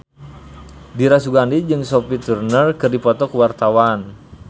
Dira Sugandi jeung Sophie Turner keur dipoto ku wartawan